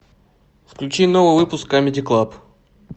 включи новый выпуск камеди клаб